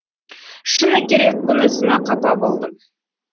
шыны керек бұнысына қапа болдым